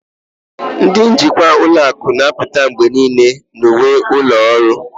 Ndị njikwa ụlọ akụ na-apụta mgbe niile na uwe ụlọ ọrụ